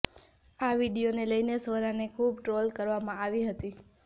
આ વીડિયોને લઈને સ્વરાને ખૂબ ટ્રોલ કરવામાં આવી હતી